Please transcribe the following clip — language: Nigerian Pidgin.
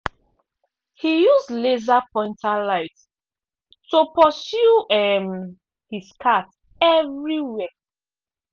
he use laser pointer light to pursue um his cat everywhere.